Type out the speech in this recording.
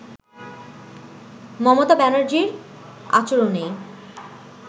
মমতা ব্যানার্জীর আচরনেই